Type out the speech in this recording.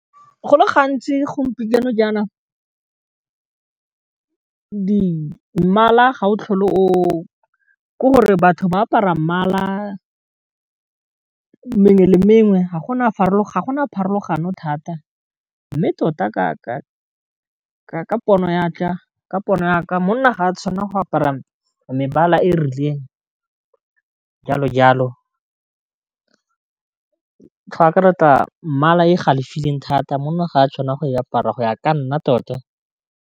Go le gantsi gompieno jaanong mmala ga o tlhole o ke gore batho ba apara mmala mengwe le mengwe ga gona pharologano thata, mme tota ka pono ya ka monna ga a tshwanela go apara mebala e rileng jalo jalo, go akaretsa mmala e galefile thata monna ga a tshwanela go e apara go ya ka nna tota.